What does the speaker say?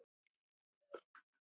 Enda hvernig annað hægt?